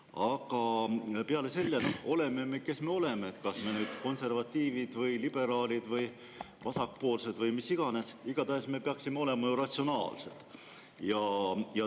Aga oleme kes me oleme, kas konservatiivid, liberaalid, vasakpoolsed või kes iganes, igatahes me peaksime olema ratsionaalsed.